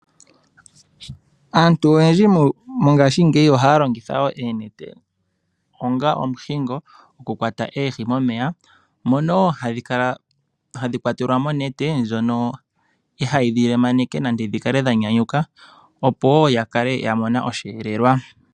Aantu oyendji mongashingeyi ohaya longitha oonete onga omuhingo gokukwata oohi momeya, mono hadhi kwatelwa monete ndjono ihayi dhi lemaneke dhi kale dha nyanyuka opowo ya kale ya mona oshelelwa.